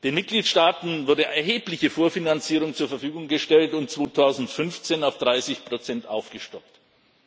Den Mitgliedstaaten wurde erhebliche Vorfinanzierung zur Verfügung gestellt, die 2015 auf 30 Prozent aufgestockt wurde.